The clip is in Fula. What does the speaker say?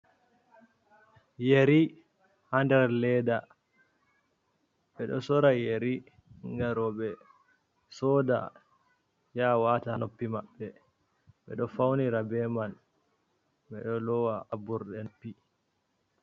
Yeri ha ndar leda, ɓeɗo sora yari ngam roɓɓe soda ya wata ha noppi maɓɓe, ɓe ɗo faunira beman ɓeɗo lowa ha ɓurɗe nopi.